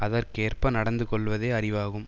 அதற்கேற்ப நடந்து கொள்வதே அறிவாகும்